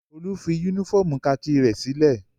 Olú fi únífọ́ọ́mù kakí rẹ̀ sílé?